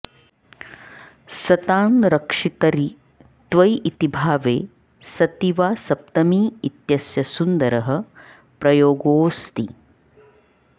सतां रक्षितरि त्वयि इति भावे सति वा सप्तमी इत्यस्य सुन्दरः प्रयोगोऽस्ति